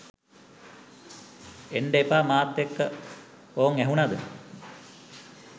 එන්ඩ එපා මාත් එක්ක ඕං ඇහුනද?